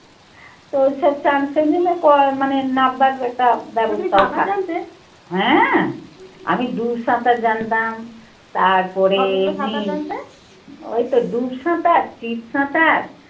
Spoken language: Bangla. তো মানে নাব্বার একটা ব্যবস্থা হয়। হ্যাঁ, আমি দু সাঁতার জানতাম তারপরে ওই তো ডুব সাঁতার, চিত সাঁতার